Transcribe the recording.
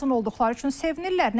Məzun olduqları üçün sevinirlər.